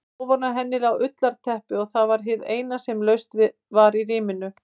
Ofan á henni lá ullarteppi og var það hið eina sem laust var í rýminu.